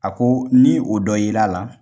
A ko ni o dɔ ye l'a la